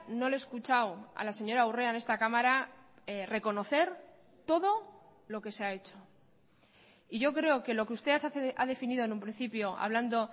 no le he escuchado a la señora urrea en esta cámara reconocer todo lo que se ha hecho y yo creo que lo que usted ha definido en un principio hablando